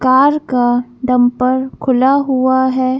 Car का dumper खुला हुआ है।